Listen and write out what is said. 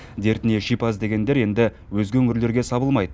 дертіне шипа іздегендер енді өзге өңірлерге сабылмайды